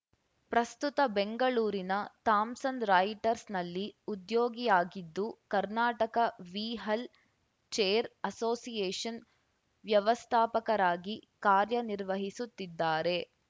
ಪ್ರಸ್ತುತ ಬೆಂಗಳೂರಿನ Thomson Reuters ನಲ್ಲಿ ಉದ್ಯೋಗಿಯಾಗಿದ್ದು ಕರ್ನಾಟಕ ವೀ್ಹಲ್‌ ಚೇರ್‌ ಅಸೋಸಿಯೇಷನ್‌ ವ್ಯವಸ್ಥಾಪಕರಾಗಿ ಕಾರ್ಯ ನಿರ್ವಹಿಸುತ್ತಿದ್ದಾರೆ